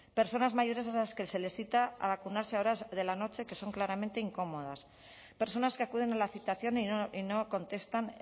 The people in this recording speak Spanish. personas mayores a las que se les cita a vacunarse a horas de la noche que son claramente incómodas personas que acuden a la citación y no contestan